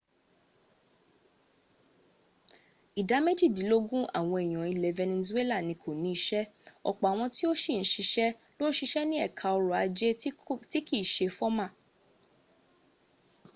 ìdá méjìdílógún àwọn èèyàn ilẹ̀ venezuela ni kò ní iṣẹ́ ọ̀pọ̀ àwọn tó sì níṣẹ́ ló ń siṣẹ́ ní ẹka ọrọ̀ ajé tí kìí se fọ́mà